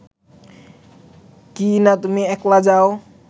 কিইনা তুমি একলা যাও